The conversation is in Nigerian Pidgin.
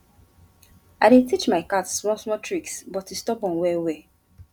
i dey teach my cat small small tricks but e stubborn well well